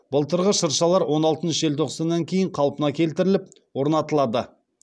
былтырғы шыршалар он алтыншы желтоқсаннан кейін қалпына келтіріліп орнатылады